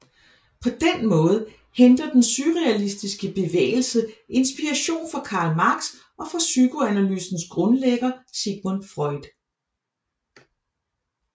På den måde henter den surrealistiske bevægelse inspiration fra Karl Marx og fra psykoanalysens grundlægger Sigmund Freud